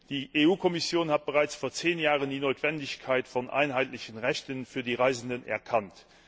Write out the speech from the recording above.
Die Kommission hat bereits vor zehn Jahren die Notwendigkeit einheitlicher Rechte für die Reisenden erkannt.